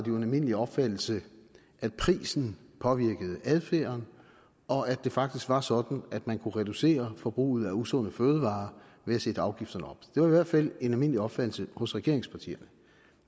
jo en almindelig opfattelse at prisen påvirkede adfærden og at det faktisk var sådan at man kunne reducere forbruget af usunde fødevarer ved at sætte afgifterne op det var i hvert fald en almindelig opfattelse hos regeringspartierne